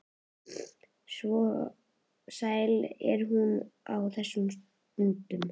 Svo sæl er hún á þessum stundum.